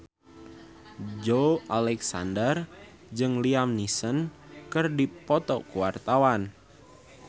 Joey Alexander jeung Liam Neeson keur dipoto ku wartawan